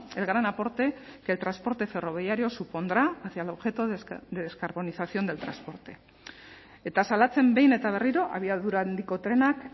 el gran aporte que el transporte ferroviario supondrá hacia el objeto de descarbonización del transporte eta salatzen behin eta berriro abiadura handiko trenak